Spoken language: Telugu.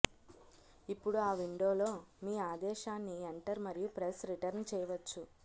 ఇప్పుడు ఆ విండోలో మీ ఆదేశాన్ని ఎంటర్ మరియు ప్రెస్ రిటర్న్ చేయవచ్చు